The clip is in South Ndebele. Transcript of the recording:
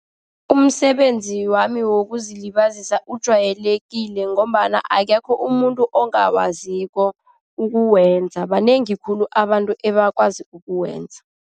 Umsebenzi wami wokuzilibazisa ujwayelekile ngombana akekho umuntu ongawaziko ukuwenza. Banengi khulu abantu ebakwazi ukuwenza.